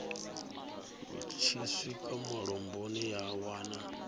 tshi swika mulamboni ya wana